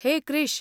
हेय क्रिश!